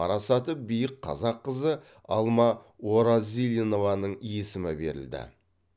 парасаты биік қазақ қызы алма оразилинованың есімі берілді